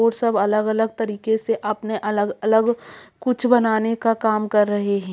और सब अलग-अलग तरीके से अपने अलग-अलग कुछ बनाने का काम कर रहे हैं ।